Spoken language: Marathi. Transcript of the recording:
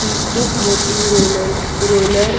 ही खूप मोठी रोलल रोलर --